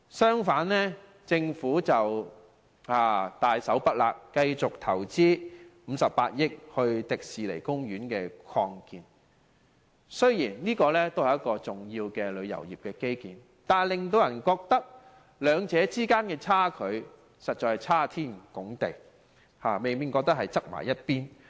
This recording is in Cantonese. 相反，政府大手筆投資58億元予香港迪士尼樂園進行擴建，雖然這也是一個重要的旅遊業基建，但令人覺得兩者實在相差太遠，未免過於偏重一方。